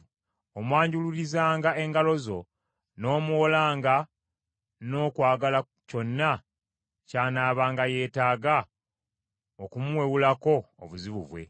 Omwanjululizanga engalo zo, n’omuwolanga n’okwagala kyonna ky’anaabanga yeetaaga okumuwewulako obuzibu bwe.